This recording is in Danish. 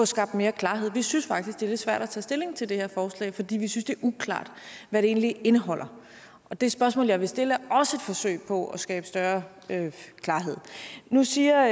skabt mere klarhed vi synes faktisk det er lidt svært at tage stilling til det her forslag fordi vi synes det er uklart hvad det egentlig indeholder og det spørgsmål jeg vil stille er også et forsøg på at skabe større klarhed nu siger